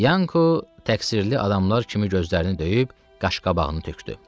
Yanko təqsirli adamlar kimi gözlərini döyüb qaş-qabağını tökdü.